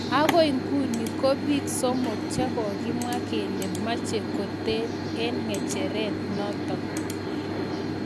Agoi nguno konbiik somok che kokemwa kele meche kotel eng ngecheret notok.